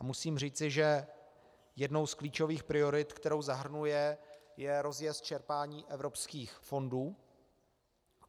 A musím říct, že jednou z klíčových priorit, kterou zahrnuje, je rozjezd čerpání evropských fondů.